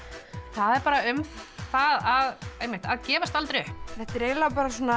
það er bara um það að gefast aldrei upp þetta er eiginlega